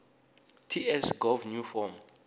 ts gov new form